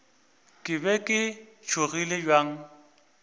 ke be ke tšhogile bjang